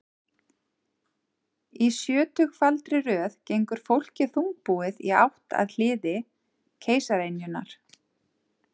Í sjötugfaldri röð gengur fólkið þungbúið í átt að hliði keisaraynjunnar.